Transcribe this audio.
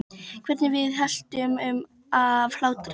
Hvernig við veltumst um af hlátri.